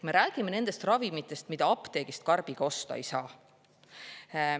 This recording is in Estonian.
Me räägime nendest ravimitest, mida apteegist karbiga osta ei saa.